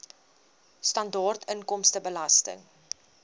sibw standaard inkomstebelasting